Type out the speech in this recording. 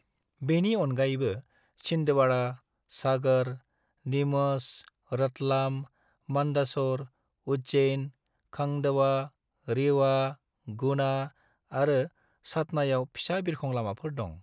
बेनि अनगायैबो छिंदवाड़ा, सागर, नीमच, रतलाम, मंदसौर, उज्जैन, खंडवा, रीवा, गुना आरो सतनायाव फिसा बिरखं लामाफोर दं।